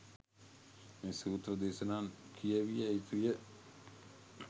මේ සූත්‍ර දේශනා කියැවිය යුතුය.